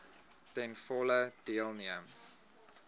ten volle deelneem